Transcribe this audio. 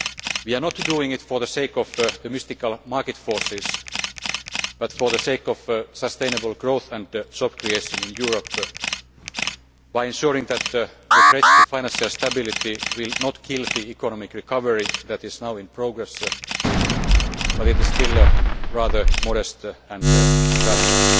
We are not doing it for the sake of the mystical market forces but for the sake of sustainable growth and job creation in Europe, by ensuring that the threats to financial stability will not kill the economic recovery that is now in progress though this is still rather modest and fragile.